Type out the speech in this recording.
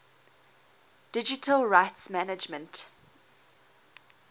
digital rights management